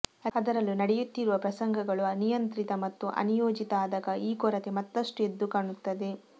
ಅದರಲ್ಲೂ ನಡೆಯುತ್ತಿರುವ ಪ್ರಸಂಗಗಳು ಅನಿಯಂತ್ರಿತ ಮತ್ತು ಅನಿಯೋಜಿತ ಆದಾಗ ಈ ಕೊರತೆ ಮತ್ತಷ್ಟು ಎದ್ದು ಕಾಣುತ್ತದೆ